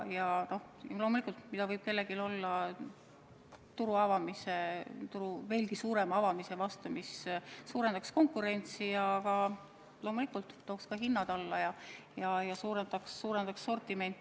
Ja loomulikult, mida võib meil olla turu veelgi suurema avamise vastu, mis suurendaks konkurentsi, tooks hinnad alla ja laiendaks sortimenti.